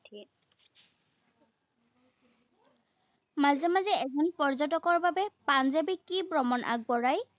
মাজে মাজে এজন পৰ্যটকৰ বাবে পাঞ্জাৱে কি ভ্ৰমণ আগবঢ়ায়?